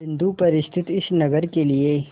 बिंदु पर स्थित इस नगर के लिए